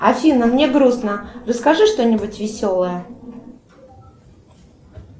афина мне грустно расскажи что нибудь веселое